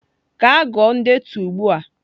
Gaa gụọ ndetu ugbu a!